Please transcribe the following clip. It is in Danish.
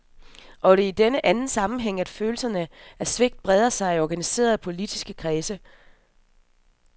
Og det er i denne anden sammenhæng, at følelsen af svigt breder sig i organiserede politiske kredse.